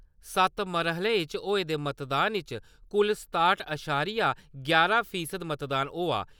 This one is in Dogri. सत्त मरह्ले च होए दे मतदान च कुल सताह्ट अशारिया यारां फीसद मतदान होआ।